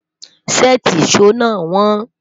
séèti ìsọ nà won